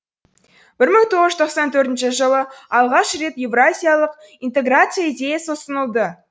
бір мың тоғыз жүз тоқсан төртінші жылы алғаш рет еуразиялық интеграция идеясы ұсынылды